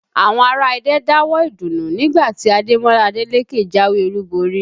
Àwọn ará Ẹdẹ ń dáwọ̀ọ́ ìdùnnú nígbà tí Ademola Adeleke jáwé olúborí